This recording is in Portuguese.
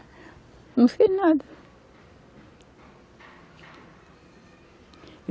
Não fez nada.